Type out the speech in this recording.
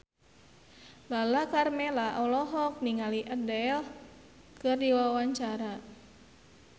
Lala Karmela olohok ningali Adele keur diwawancara